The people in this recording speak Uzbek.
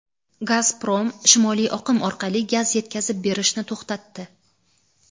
"Gazprom" "Shimoliy oqim" orqali gaz yetkazib berishni to‘xtatdi.